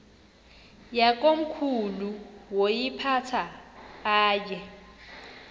yakomkhulu woyiphatha aye